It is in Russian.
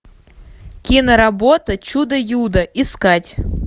киноработа чудо юдо искать